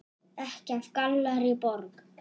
Ekki af Gallerí Borg.